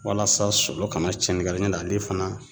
Walasa solo kana cɛni k'a la ɲ'o tɛ ale fana